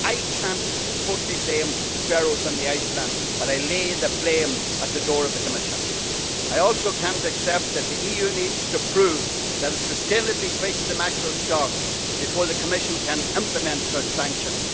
I cannot totally blame the Faroe Islands and Iceland, but I lay the blame at the door of the Commission. I also cannot accept that the EU needs to prove that it has sustainably fished mackerel stocks before the Commission can implement such sanctions.